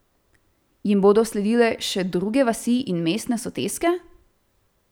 Jim bodo sledile še druge vasi in mestne soseske?